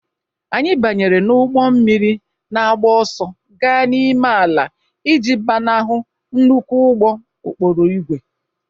Anyị banyere n'ụgbọ mmiri na-agba ọsọ gaa n'ime ala iji gbanahụ nnukwu ụgbọ okporo ígwè